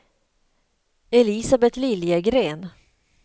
Elisabeth Liljegren